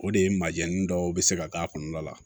O de ye majɛnnin dɔw bɛ se ka k'a kɔnɔna la